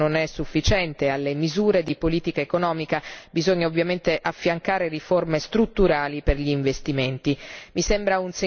Certo, tutto questo non è sufficiente alle misure di politica economica bisogna ovviamente affiancare riforme strutturali per gli investimenti.